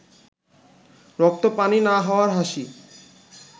রক্ত পানি না হওয়ার হাসি